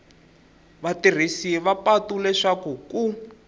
vatirhisi va patu leswaku ku